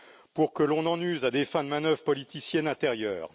pour que l'on en use à des fins de manœuvres politiciennes intérieures.